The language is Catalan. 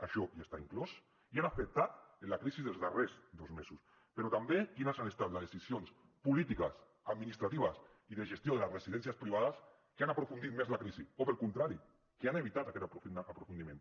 això ja està inclòs i ha afectat en la crisi dels darrers dos mesos però també quines han estat les decisions polítiques administratives i de gestió de les residències privades que han aprofundit més la crisi o pel contrari que han evitat aquest aprofundiment